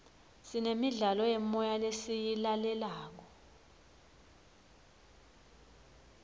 sinemidlalo yemoya lesiyilalelayo